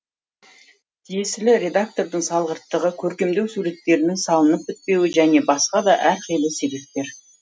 тиесілі редактордың салғырттығы көркемдеу суреттерінің салынып бітпеуі және басқа да әрқилы себептер